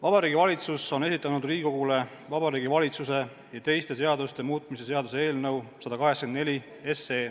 Vabariigi Valitsus on esitanud Riigikogule Vabariigi Valitsuse ja teiste seaduste muutmise seaduse eelnõu 184.